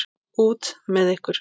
Út með ykkur!